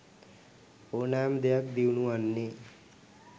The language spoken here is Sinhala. ඕනෑම දෙයක් දියුණු වන්නේ